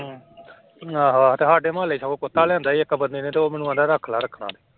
ਆਹੋ ਆਹੋ ਤੇ ਸਾਡੇ ਮੁਹੱਲੇ ਚ ਉਹ ਕੁੱਤਾ ਲਿਆਂਦਾ ਸੀ ਇੱਕ ਬੰਦੇ ਨੇ ਤੇ ਉਹ ਮੈਨੂੰ ਕਹਿੰਦਾ ਰੱਖ ਲਾ ਰੱਖਣਾ।